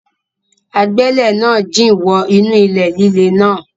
Agbẹ́lẹ̀ náà jìn wọ inú ilẹ̀ líle náà.